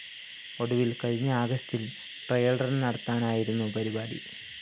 ഒടുവില്‍ കഴിഞ്ഞ ആഗസ്റ്റില്‍ ട്രയല്‍റണ്‍ നടത്താനായിരുന്നു പരിപാടി